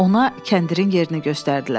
Ona kəndirin yerini göstərdilər.